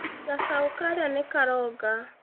Cacaũ karĩa nĩkaronga